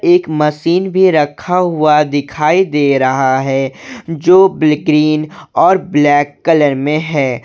एक मशीन भी रखा हुआ दिखाई दे रहा है जो ब्लि ग्रीन और ब्लैक कलर में है।